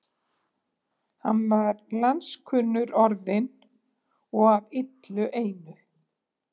Hann var landskunnur orðinn og af illu einu.